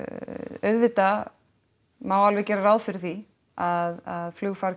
auðvitað má alveg gera ráð fyrir því að flugfargjöld